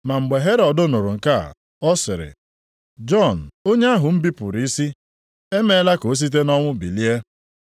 Ma mgbe Herọd nụrụ nke a, ọ sịrị, “Jọn onye ahụ m bipụrụ isi, emeela ka ọ site nʼọnwụ bilie!”